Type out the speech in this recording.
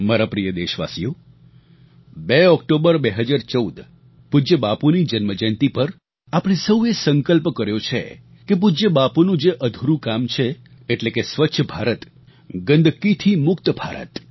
મારા પ્રિય દેશવાસીઓ 2 ઓક્ટોબર 2014 પૂજ્ય બાપુની જન્મ જયંતી પર આપણે સૌએ સંકલ્પ કર્યો છે કે પૂજ્ય બાપુનું જે અધૂરું કામ છે એટલે કે સ્વચ્છ ભારત ગંદકીથી મુક્ત ભારત